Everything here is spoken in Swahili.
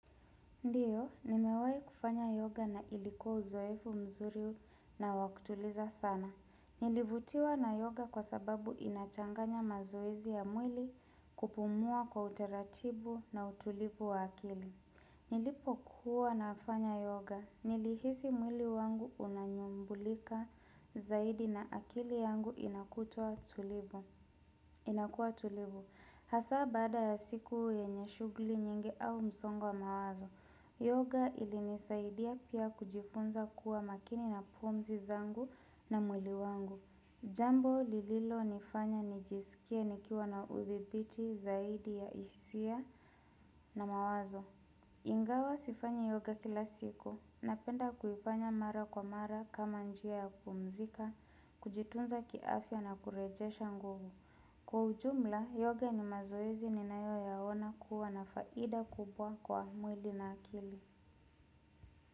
Ndiyo, nimewahi kufanya yoga na ilikuwa uzoefu mzuri na wa kutuliza sana. Nilivutiwa na yoga kwa sababu inachanganya mazoezi ya mwili kupumua kwa uteratibu na utulivu wa akili. Nilipokuwa nafanya yoga, nilihisi mwili wangu unanyumbulika zaidi na akili yangu inakutua tulibu. Inakua tulivu. Hasaa baada ya siku yenye shughuli nyingi au msongo wa mawazo. Yoga ilinisaidia pia kujifunza kuwa makini na pumzi zangu na mwili wangu. Jambo lililonifanya nijisikia nikiwa na udhibiti zaidi ya hisia na mawazo. Ingawa sifanyi yoga kila siku, Napenda kuifanya mara kwa mara kama njia ya kumzika Kujitunza kiafya na kurejesha nguvu Kwa ujumla, yoga ni mazoezi ninayo yaona kuwa na faida kubwa kwa mwili na akili.